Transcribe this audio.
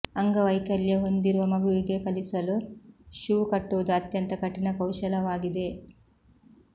ಅಂಗವೈಕಲ್ಯ ಹೊಂದಿರುವ ಮಗುವಿಗೆ ಕಲಿಸಲು ಶೂ ಕಟ್ಟುವುದು ಅತ್ಯಂತ ಕಠಿಣ ಕೌಶಲವಾಗಿದೆ